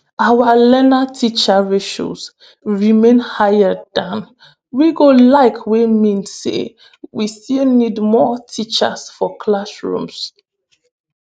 "our learner-teacher ratios remain higher dan we go like wey mean say we still need more teachers for classrooms.